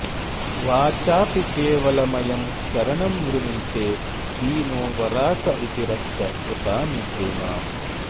वाचापि केवलमयं शरणं वृणीते दीनो वराक इति रक्ष कृपानिधे माम्